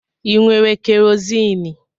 ị nwere kerozini?